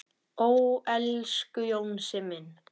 Ó, elsku Jónsi minn.